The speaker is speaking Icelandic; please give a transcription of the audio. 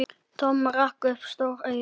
Tom rak upp stór augu.